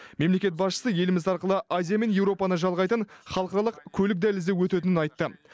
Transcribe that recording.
мемлекет басшысы еліміз арқылы азия мен еуропаны жалғайтын халықаралық көлік дәлізі өтетінін айтты